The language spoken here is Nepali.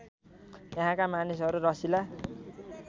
यहाँका मानिसहरू रसिला